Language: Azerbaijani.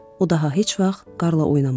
O daha heç vaxt qarla oynamadı.